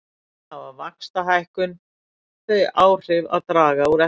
Þannig hefur vaxtahækkun þau áhrif að draga úr eftirspurn.